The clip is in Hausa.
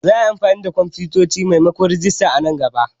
Za a yi amfani da kwamfutoci maimakon rajista a nan gaba.